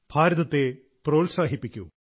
ഭാരതത്തെ പ്രോത്സാഹിപ്പിക്കൂ